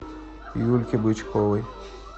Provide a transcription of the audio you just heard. юльке бычковой